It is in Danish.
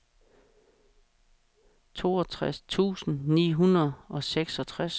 toogtres tusind ni hundrede og seksogtres